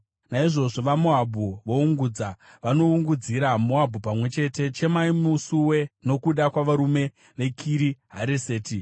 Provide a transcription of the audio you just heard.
Naizvozvo vaMoabhu voungudza, vanoungudzira Moabhu pamwe chete. Chemai musuwe nokuda kwavarume veKiri Hareseti.